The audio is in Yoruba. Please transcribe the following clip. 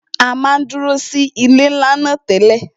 À máa ń dúró sí ilé ńlá náà tẹ́lẹ̀